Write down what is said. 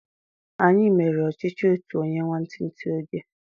Anyi mere ọchichi otu onye nwantinti oge